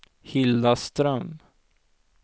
Hilda Ström